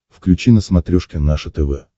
включи на смотрешке наше тв